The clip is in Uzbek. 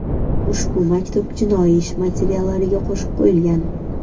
Ushbu maktub jinoiy ish materiallariga qo‘shib qo‘yilgan.